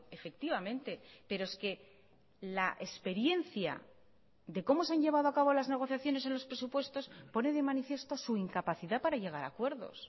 efectivamente pero es que la experiencia de cómo se han llevado a cabo las negociaciones en los presupuestos pone de manifiesto su incapacidad para llegar a acuerdos